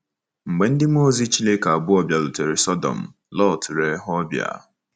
Mgbe ndị mmụọ ozi Chineke abụọ bịarutere Sọdọm, Lọt lere ha ọbịa.